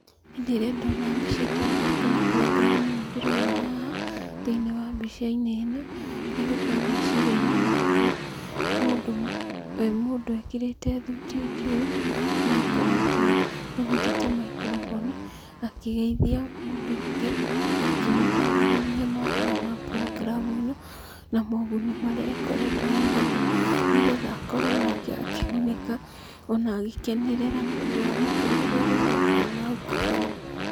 Hĩndĩ ĩrĩa ndona mbica ta ĩno kana programu ĩno ndĩrona haha thĩiniĩ wa mbica-inĩ ĩno, kĩrĩa gĩũkaga meciria-inĩ makwa nĩ mũndũ, mũndũ ekĩrĩte thuti njirũ na akooha tai, anyitĩte maikrobonĩ, akĩgeithia mũndũ ũngĩ, akĩmũtaaragĩria mawega ma programu ĩno, na moguni marĩa ĩkoretwo ĩnamo, nĩgetha akorwo onake akĩgunĩka, ona agĩkenerera nĩ ũndũ wa mũtũrĩre ũrĩa ũroka nahau kabere.